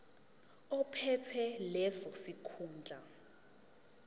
ophethe leso sikhundla